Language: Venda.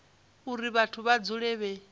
uri vhathu vha dzule vhe